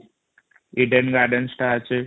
hidden garden statue